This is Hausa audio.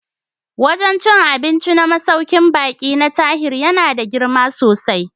Wajen cin abinci na masaukin baƙi na Tahir yana da girma sosai